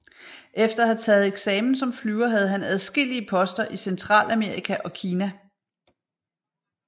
Efter at have taget eksamen som flyver havde han adskillige poster i Centralamerika og Kina